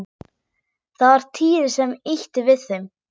Það var Týri sem ýtti við þeim.